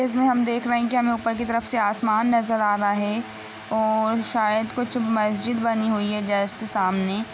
जैसा हम देख रहे हैं हमें ऊपर की तरफ आसमान नज़र आ रहा है और शायद कुछ मस्जिद बनी हुई है जस्ट सामने।